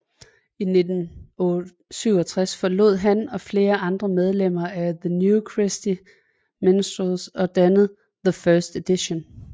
I 1967 forlod han og flere andre medlemmer af the New Christy Minstrels og dannede The First Edition